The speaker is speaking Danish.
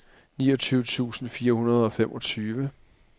niogtyve tusind fire hundrede og femogtyve